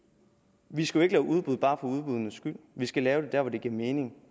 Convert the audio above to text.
vi skal jo ikke lave udbud bare for udbuddenes skyld vi skal lave dem der hvor det giver mening